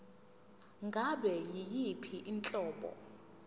ngabe yiyiphi inhlobo